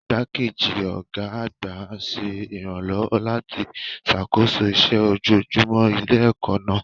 Igbákejì ọ̀gá àgbà ṣe ìrànlọ́wọ́ láti ṣàkóso iṣẹ́ ojoojúmọ́ ilé-ẹ̀kọ́ náà.